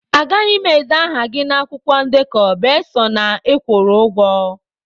Agaghị m ede aha gị na akwụkwọ ndekọ besọ na ị kwụrụ ụgwọ